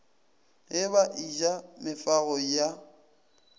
ge ba eja mefago ya